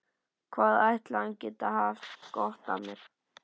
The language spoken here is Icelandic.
Hvað ætli hann geti haft gott af mér?